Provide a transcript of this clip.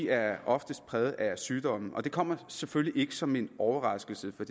er oftest præget af sygdomme det kommer selvfølgelig ikke som en overraskelse for